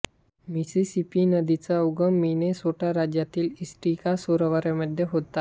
Mississippi नदीचा उगम Minnesota राज्यातील इटास्का सरोवरामध्ये होतो